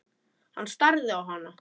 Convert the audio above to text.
Hann starði á hana.